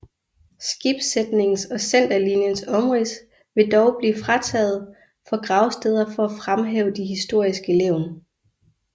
Skibssætningens og centerlinjens omrids vil dog blive fritaget for gravsteder for at fremhæve de historiske levn